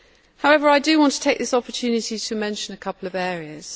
However, I do want to take this opportunity to mention a couple of areas.